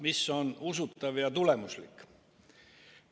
Mis on usutav ja tulemuslik?